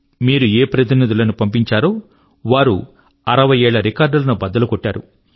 మీరు ఏ జన ప్రతినిధుల ను పంపించారో వారు అరవయ్యేళ్ళ రికార్డ్ లను బద్దలు కొట్టారు